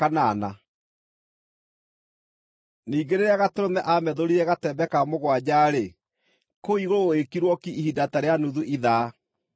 Ningĩ rĩrĩa Gatũrũme aamethũrire gatembe ka mũgwanja-rĩ, kũu igũrũ gũgĩkirwo ki ihinda ta rĩa nuthu ithaa.